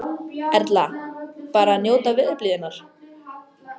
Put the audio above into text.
Erla: Bara að njóta veðurblíðunnar?